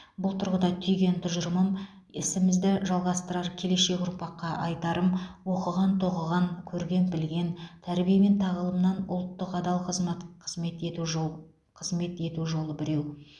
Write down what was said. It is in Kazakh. бұл тұрғыда түйген тұжырымым ісімізді жалғастырар келешек ұрпаққа айтарым оқыған тоқыған көрген білген тәрбие мен тағылымның ұлтқа адал қызмат қызмет ету жол қызмет ету жолы біреу